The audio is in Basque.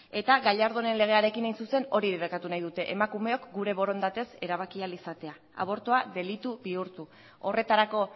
eta gallardonen legearekin hain zuzen hori debekatu nahi dute emakumeok gure borondatez erabaki ahal izatea abortua delitu bihurtu horretarako